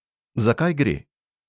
Za kaj gre?